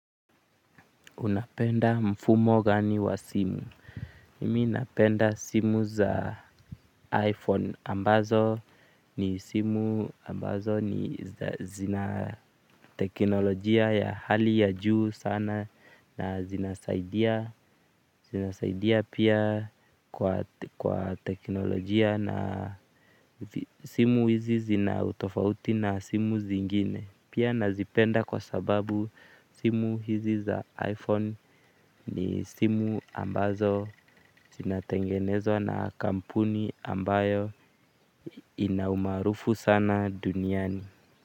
Unapenda mfumo gani wa simu mimi napenda simu za iPhone ambazo ni simu ambazo ni zina teknolojia ya hali ya juu sana na zina saidia. Zina saidia pia kwa teknolojia na simu hizi zina utofauti na simu zingine. Pia nazipenda kwa sababu simu hizi za iPhone ni simu ambazo zinatengenezwa na kampuni ambayo inaumaarufu sana duniani.